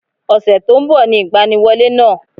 Ọ̀sẹ̀ tó nbọ̀ ni ìgbaniwọlé náà